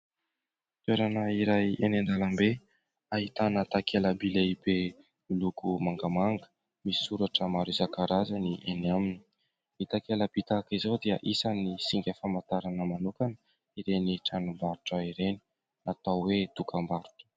Toerana iray eny an-dalambe ahitana takela-by lehibe miloko mangamanga misy soratra maro isan-karazany eny aminy, ny takela-by tahaka izao dia isany singa famantarana manokana ireny tranombarotra ireny natao hoe dokam-barotra.